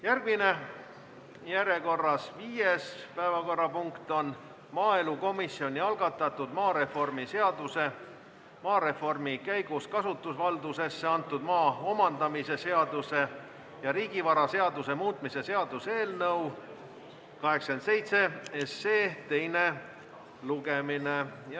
Järgmine, viies päevakorrapunkt on maaelukomisjoni algatatud maareformi seaduse, maareformi käigus kasutusvaldusesse antud maa omandamise seaduse ja riigivaraseaduse muutmise seaduse eelnõu teise lugemise jätkamine.